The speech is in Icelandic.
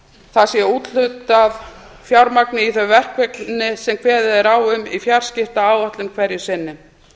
það sé úthlutað fjármagni í þau verkefni sem kveðið er á um í fjarskiptaáætlun hverju sinni